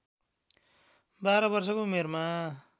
१२ वर्षको उमेरमा